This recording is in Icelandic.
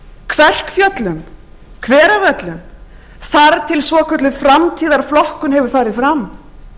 kverkfjöllum hveravöllum þar til svokölluð framtíðarflokkun hefur farið fram